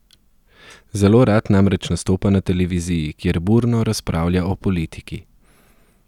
Zelo rad namreč nastopa na televiziji, kjer burno razpravlja o politiki.